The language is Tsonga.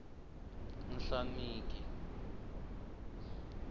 nhlaneki